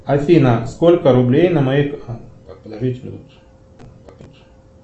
афина сколько рублей на моей